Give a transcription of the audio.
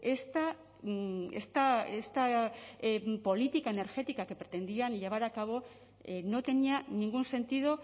esta esta política energética que pretendían llevar a cabo no tenía ningún sentido